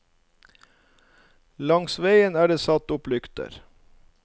Langs veien er det satt opp lykter.